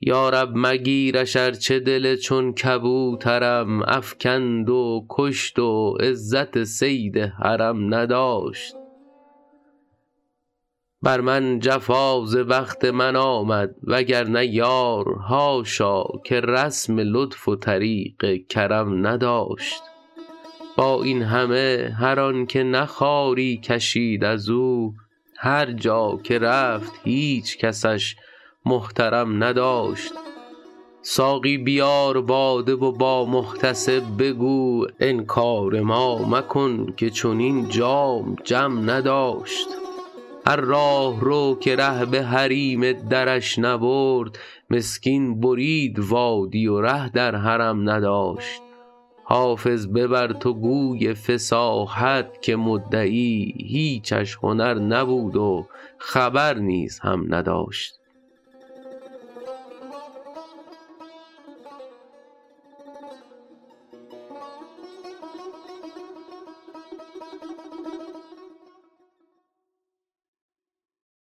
یا رب مگیرش ارچه دل چون کبوترم افکند و کشت و عزت صید حرم نداشت بر من جفا ز بخت من آمد وگرنه یار حاشا که رسم لطف و طریق کرم نداشت با این همه هر آن که نه خواری کشید از او هر جا که رفت هیچ کسش محترم نداشت ساقی بیار باده و با محتسب بگو انکار ما مکن که چنین جام جم نداشت هر راهرو که ره به حریم درش نبرد مسکین برید وادی و ره در حرم نداشت حافظ ببر تو گوی فصاحت که مدعی هیچش هنر نبود و خبر نیز هم نداشت